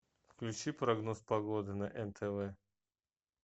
включи прогноз погоды на нтв